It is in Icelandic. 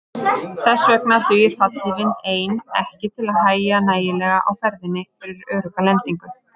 Þess vegna dugir fallhlífin ein ekki til að hægja nægjanlega á ferðinni fyrir örugga lendingu.